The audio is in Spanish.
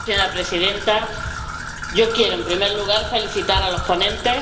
Señora Presidenta, yo quiero, en primer lugar, felicitar a los ponentes.